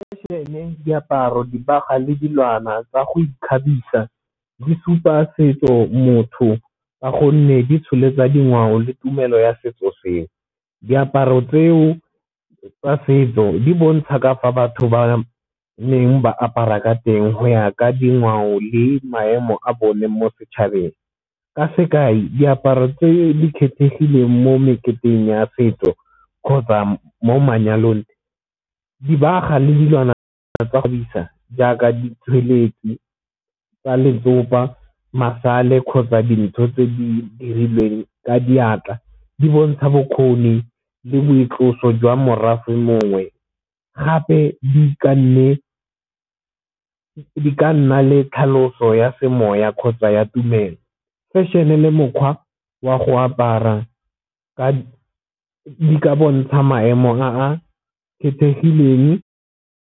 Fashion-e diaparo dibagwa le dilwana tsa go ikgabisa di supa setso motho ka gonne di tsholetsa dingwao le tumelo ya setso seo. Diaparo tseo tsa setso di bontsha ka fa batho ba neng ba apara ka teng go ya ka dingwao le maemo a bone mo setšhabeng, ka sekai diaparo tse di kgethegileng mo meketeng ya setso kgotsa mo manyalong. Dibaga le dilwana tsa go jaaka ditsweletsi tsa letsopa, masale kgotsa dintho tse di dirilweng ka diatla di bontsha bokgoni le boitlosa jwa morafe mongwe, gape di ka nna le tlhaloso ya semoya kgotsa ya tumelo fashion-e le mokgwa wa go apara ka bontsha maemo a a kgethegileng.